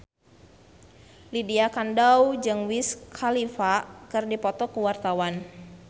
Lydia Kandou jeung Wiz Khalifa keur dipoto ku wartawan